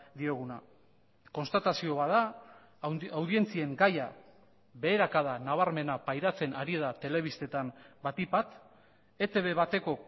dioguna konstatazio bat da audientzien gaia beherakada nabarmena pairatzen ari da telebistetan batik bat etb bateko